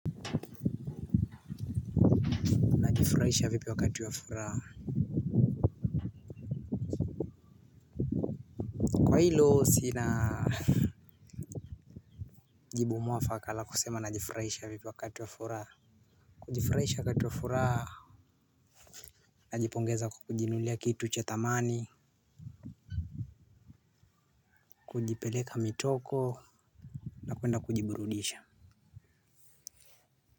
Najifuraisha vipi wakati wa furaha? Kwa hilo sina jibu mwafaka la kusema najifurahisha vipi wakati wa furaha. Kujifurahisha wakati wa furaha. Najipongeza kwa kujinunulia kitu cha thamani. Kujipeleka mitoko. Na kuenda kujiburudisha.